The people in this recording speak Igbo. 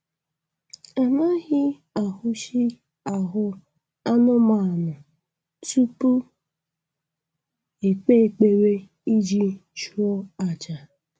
Anaghị ahụshị ahụ anụmanụ tupu ekpe ekpere iji chụọ aja